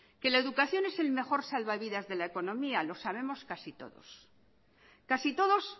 que la educación es el mejor salvavidas de la economía los sabemos casi todos casi todos